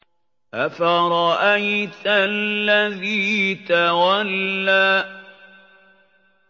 أَفَرَأَيْتَ الَّذِي تَوَلَّىٰ